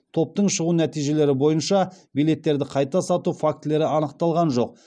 топтың шығу нәтижелері бойынша билеттерді қайта сату фактілері анықталған жоқ